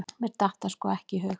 Mér datt það sko ekki í hug!